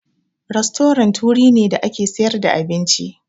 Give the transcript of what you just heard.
Rastorant wurin ne da ake sayar da abinci.